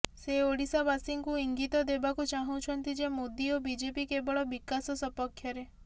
ସେ ଓଡ଼ିଶାବାସୀଙ୍କୁ ଇଙ୍ଗିତ ଦେବାକୁ ଚାହୁଁଛନ୍ତି ଯେ ମୋଦି ଓ ବିଜେପି କେବଳ ବିକାଶ ସପକ୍ଷରେ